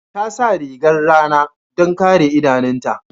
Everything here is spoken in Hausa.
Ta sa rigar rana don kare idanunta.